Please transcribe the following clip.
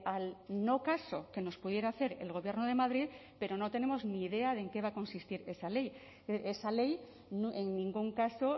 al no caso que nos pudiera hacer el gobierno de madrid pero no tenemos ni idea de en qué va a consistir esa ley esa ley en ningún caso